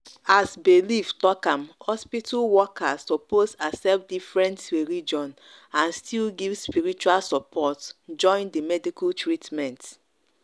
as belief talk am hospital workers suppose accept different religion and still give spiritual support join the medical treatment.